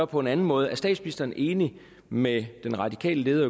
på en anden måde er statsministeren enig med den radikale leder